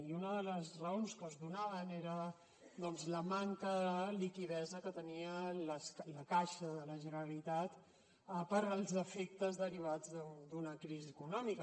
i una de les raons que es donaven era doncs la manca de liquiditat que tenia la caixa de la generalitat pels efectes derivats d’una crisi econòmica